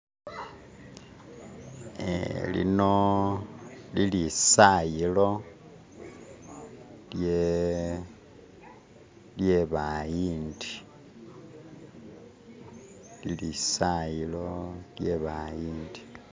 ee lino lilisayilo lyebayindi lilisayilo lyebayindi